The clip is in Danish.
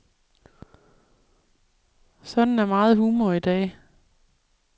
Sådan er meget humor i dag.